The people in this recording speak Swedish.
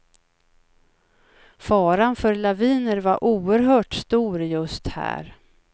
Faran för laviner var oerhört stor just här.